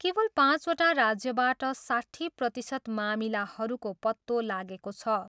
केवल पाँचवटा राज्यबाट साट्ठी प्रतिशत मामिलाहरूको पत्तो लागेको छ।